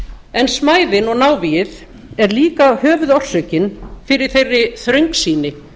en smæðin og návígið er líka höfuðorsökin fyrir þeirri þröngsýni